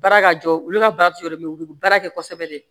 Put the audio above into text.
Baara ka jɔ olu ka baara tɛ yɔrɔ mɛ u bɛ baara kɛ kosɛbɛ de